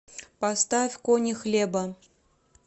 поставь кони хлеба